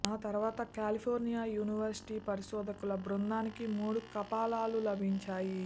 ఆ తర్వాత California university పరిశోధకుల బృందానికి మూడు కపాలాలు లభించాయి